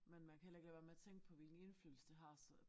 Men man kan heller ikke lade være med at tænke på hvilken indflydelse det har så